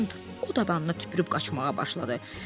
O dabanna tüpürüb qaçmağa başladı.